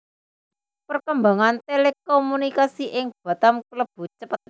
Perkembangan Telekomunikasi ing Batam klebu cepet